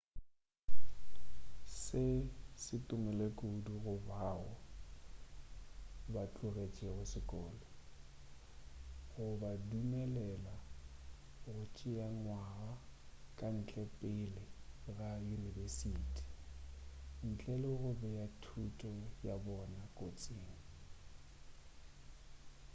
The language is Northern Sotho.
se se tumile kudu go bao ba tlogetšego sekolo go ba dumelela go tšea ngwaga ka ntle pele ga yunibesiti ntle le go bea thuto ya bona kotsing